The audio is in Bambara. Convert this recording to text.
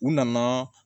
U nana